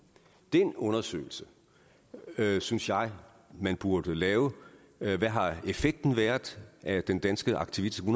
den undersøgelse synes jeg man burde lave hvad har effekten været af den danske aktivistiske